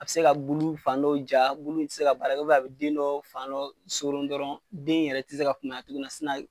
A bɛ se ka bulu fan dɔ ja, bulu ti se ka baara a bi den dɔ fan dɔ soron dɔrɔn den yɛrɛ tɛ se ka kunbaya tuguni